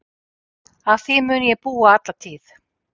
Að því mun ég búa alla tíð.